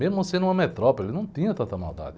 Mesmo sendo uma metrópole, não tinha tanta maldade.